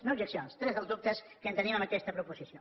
no objeccions tres dels dubtes que tenim en aquesta proposició